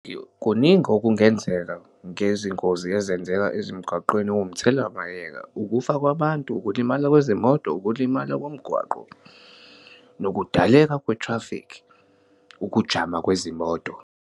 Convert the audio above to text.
Kuningi okungenzeka ngezingozi ezenzeka ezimgaqweni owumthelawayeka, ukufa kwabantu, ukulimala kwezimoto, ukulimala komgwaqo, nokudaleka kwethrafikhi, ukujama kwezimoto.